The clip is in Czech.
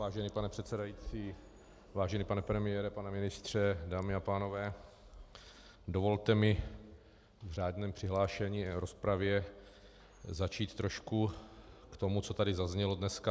Vážený pane předsedající, vážený pane premiére, pane ministře, dámy a pánové, dovolte mi v řádném přihlášení v rozpravě zatím trošku k tomu, co tady zaznělo dneska.